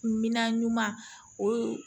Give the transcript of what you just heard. Minan ɲuman ɲuman o ye